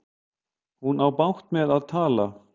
Hún á bágt með að tala.